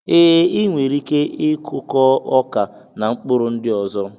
E, I nwere ike I kụkọ ọkà na mkpụrụ ndị ọzọ